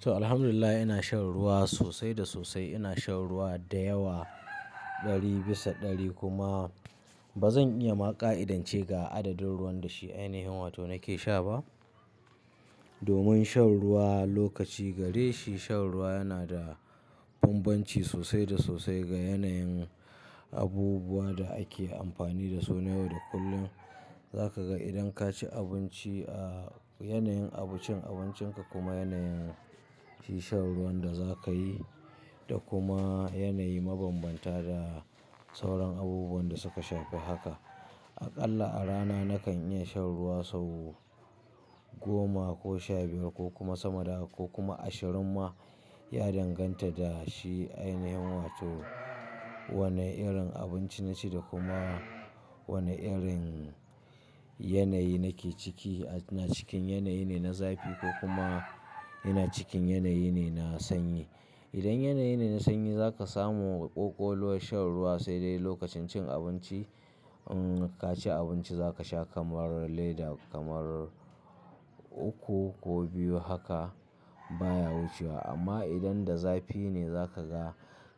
To, alhamdulillah ina shan ruwa sosai da sosai. Ina shan ruwa da yawa ɗari bisa ɗari kuma ba zan iya ma ƙa'idance ga adadin ruwan da shi ainihin wato nake sha ba. Domin shan ruwa lokaci gare shi shan ruwa yana da bambanci sosai da sosai ga yanayin abubuwan da ake amfani da su na yau da kullum. Za ka ga idan ka ci abinci a yanayin abincin abincinka kuma yanayin shi shan ruwan da za ka yi da kuma yanayi mabambanta da sauran abubuwan da suka shafi haka. Aƙalla a rana na kan iya shan ruwa sau goma ko sha biyar ko kuma sama da haka ko kuma ashirin ma ya danganta da shi ainihin wato wane irin abinci na ci da kuma wane irin yanayi na ke ciki. INa cikin yanayi ne na zafi ko kuma ina cikin yanayi ne na sanyi. Idan yanayi ne na sanyi za ka samu ƙoƙoluwar shan ruwa sai dai lokacin cin abinci. In ka ci abinci za ka sha kamar lader kamar uku ko biyu haka baya wucewa amma idan da zafi ne za ka ga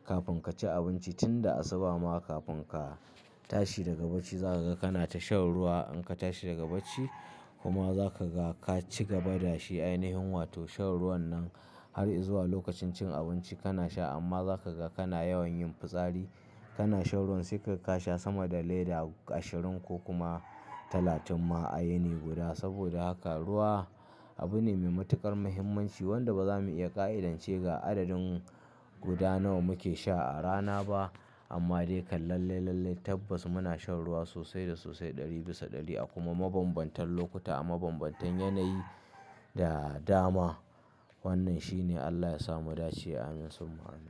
kafin ka ci abinci tun da asuba ma kafin ka tashi daga bacci za ka ga kana ta shan ruwa. In ka tashi daga bacci kuma za ka ga ka cigaba da shi ainihin wato shan ruwan nan har izuwa lokacin cin abinci kana sha amma za ka ga kana yawan yin fitsari. Kana shan ruwan sai ka kasha sama da lader ashirin ko kuma talatin ma a yini guda. Saboda haka ruwa abu ne mai matuƙar muhimmanci wanda ba za mu iya ƙa'idance ga adadin guda nawa muke sha a rana ba. Amma dai kan lallai lallai tabbas muna shan ruwa sosai da sosai ɗari bisa ɗari a kuma mabambantan lokuta a mabambantan yanayi da dama. Wannan shi ne Allah ya samu dace ameen subhanallah.